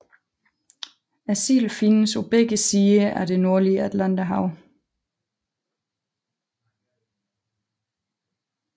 Silden findes på begge sider af det nordlige Atlanterhav